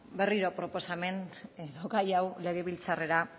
berriro proposamen edo gai hau legebiltzarrera